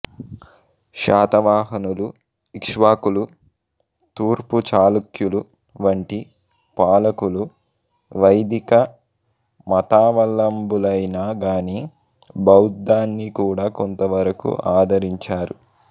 శాతవాహనులు ఇక్ష్వాకులు తూర్పు చాళుక్యులు వంటి పాలకులు వైదిక మతావలంబులైనా గాని బౌద్ధాన్ని కూడా కొంతవరకు ఆదరించారు